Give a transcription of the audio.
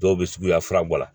Dɔw bɛ suguya fila bɔ a la